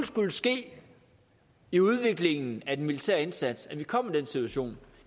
skulle ske i udviklingen af den militære indsats at vi kom i den situation